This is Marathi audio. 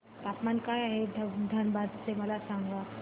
तापमान काय आहे धनबाद चे मला सांगा